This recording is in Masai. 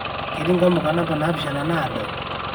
keeti nkamuka namba naapishana naado